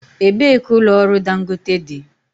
Ebee ka ụlọ ọrụ Dangote dị?